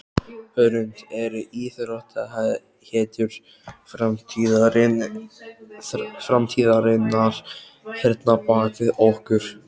Hrund: Eru íþróttahetjur framtíðarinnar hérna bak við okkur?